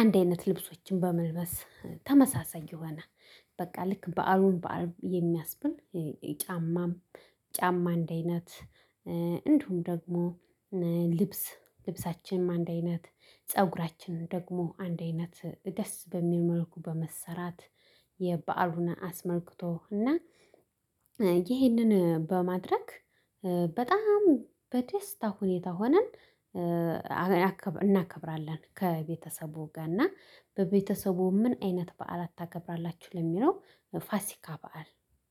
አንድ አይነት ልብሶችን በመልበስ ተመሳሳይ የሆነ በቃ ልክ በዓሉን በዓል የሚያስብል ጫማም ጫማ አንድ አይነት። እንዲሁም ደግሞ ልብስ ልብሳችንም አንድ አይነት ፀጉራችንም ደግሞ አንድ አይነት ደስ በሚል መልኩ በመሰራት። የበአሉን አስመልክቶ እና ይህንን በማድረግ በጣም በደስታ ሁኔታ ሆነን እናከብራለን። ከቤተሰቡ ጋር እና በቤተሰቡ ምን አይነት በዓላት ታከብራላችሁ ለሚለው ፋሲካ በዓል